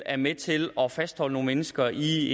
er med til at fastholde nogle mennesker i